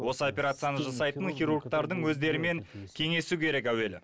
осы операцияны жасайтын хирургтардың өздерімен кеңесу керек әуелі